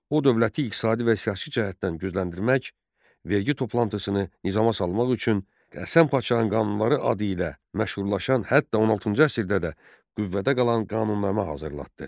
O dövləti iqtisadi və siyasi cəhətdən gücləndirmək, vergi toplantısını nizama salmaq üçün Həsən Paşanın qanunları adı ilə məşhurlaşan, hətta 16-cı əsrdə də qüvvədə qalan qanunnamə hazırlatdı.